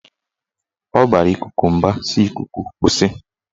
Ọ bara ikuku mba si"Ikuku kwụsị!